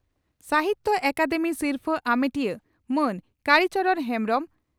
ᱥᱟᱦᱤᱛᱭᱚ ᱟᱠᱟᱫᱮᱢᱤ ᱥᱤᱨᱯᱷᱟᱹ ᱟᱢᱮᱴᱤᱭᱟᱹ ᱢᱟᱱ ᱠᱟᱲᱤ ᱪᱚᱨᱚᱬ ᱦᱮᱢᱵᱽᱨᱚᱢ